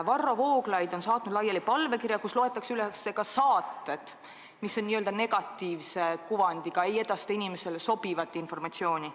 Varro Vooglaid on saatnud laiali palvekirja, kus loetakse üles ka saated, mis on negatiivse kuvandiga, mis ei edasta inimestele sobivat informatsiooni.